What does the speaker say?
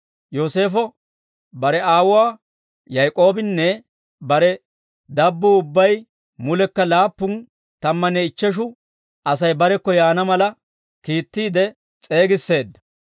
Yooseefo bare aawuwaa Yaak'oobinne bare dabbuu ubbay mulekka laappun tammanne ichcheshu Asay barekko yaana mala, kiittiide s'eegisseedda.